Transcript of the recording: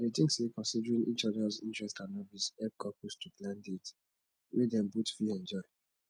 i dey think say considering each odas interests and hobbies help couples to plan dates wey dem both fit enjoy